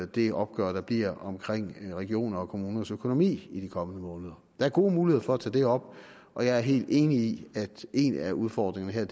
det opgør der bliver omkring regioners og kommuners økonomi i de kommende måneder der er gode muligheder for at tage det op og jeg er helt enig i at en af udfordringerne